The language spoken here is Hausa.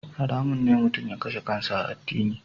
Haramun ne mutum ya kashe kansa a addini.